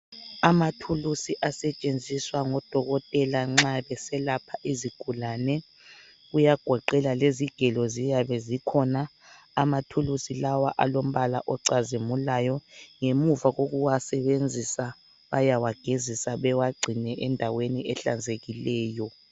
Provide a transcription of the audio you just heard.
Amathuluzi asetshenziswa ngodokotela nxa beselapha izigulane, kuyagoqela lezigelo ziyabe zikhona. Amathuluzi lawa alombala ocazimulayo. Ngemuva kokuwasebenzisa bayawagezisa bewagcine endaweni ehlanzekileyo.